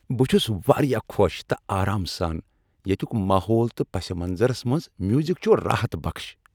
بہٕ چھس واریاہ خوش تہٕ آرام سان، ییتیک ماحول تہ پس منظرس منز میوزک چھُ راحت بخش۔